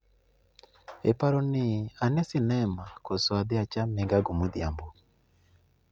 Iparo ni ane sinema koso idhi acham migago modhiambo